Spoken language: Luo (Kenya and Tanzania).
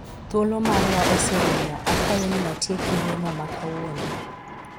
thuolo marwa oserumo ,akwayo ni watieki romo ma kawuono